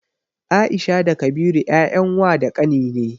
Aisha da Kabiru 'ya'yan wa da ƙani ne.